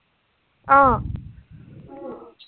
অ।